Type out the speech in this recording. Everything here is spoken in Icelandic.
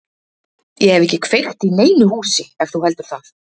Ég hef ekki kveikt í neinu húsi ef þú heldur það.